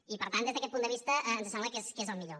i per tant des d’aquest punt de vista ens sembla que és el millor